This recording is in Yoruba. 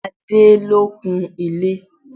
Adé lọ kun ilé.